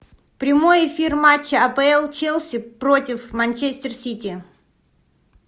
прямой эфир матча апл челси против манчестер сити